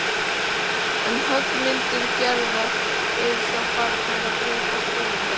En höggmyndir Gerðar eru þá farnar að breytast verulega.